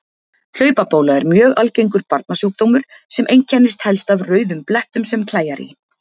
Hlaupabóla er mjög algengur barnasjúkdómur sem einkennist helst af rauðum blettum sem klæjar í.